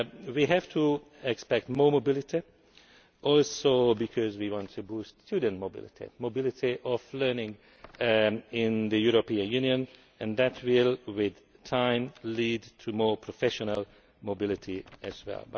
We have to expect more mobility, not least because we want to boost student mobility mobility of learning in the European Union and that will in time lead to more professional mobility as well.